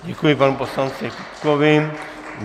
Děkuji panu poslanci Kupkovi.